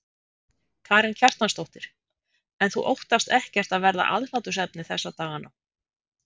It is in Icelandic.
Karen Kjartansdóttir: En þú óttast ekkert að verða aðhlátursefni þessa dagana?